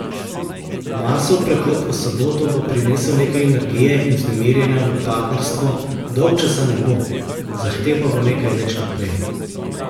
Marsov prehod v soboto bo prinesel nekaj energije in vznemirjenja v partnerstvo, dolgčasa ne bo, zahtev pa bo nekaj več kot prej.